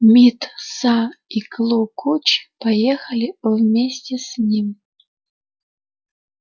мит са и клу куч поехали вместе с ним